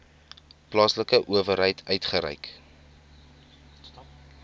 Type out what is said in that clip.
plaaslike owerheid uitgereik